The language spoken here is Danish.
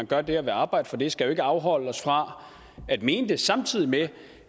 gør det og vil arbejde for det skal jo ikke afholde os fra at mene det samtidig med